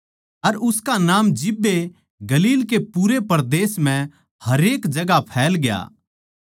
अर उसका नाम जिब्बे गलील के पूरे परदेस म्ह हरेक जगहां फैलग्या